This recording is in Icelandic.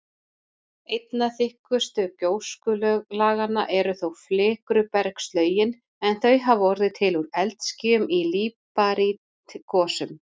Einna þykkust gjóskulaganna eru þó flikrubergslögin, en þau hafa orðið til úr eldskýjum í líparítgosum.